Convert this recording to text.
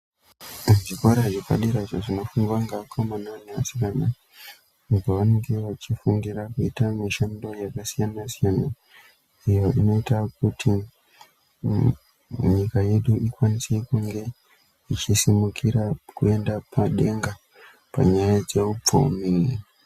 Zvikora zvepadera izvo zvinofundwa nevakomana nevasikana apo pavanenge vachifundira kuita mishando yakasiyana siyana iyo inoita kuti nyika yedu ikwanise kunge ichisimukira kuenda pane vana panyaya dzehupfumi.